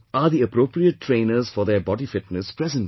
Are the appropriate trainers for their body fitness present there